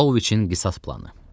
Pavloviçin qisas planı.